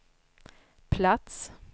plats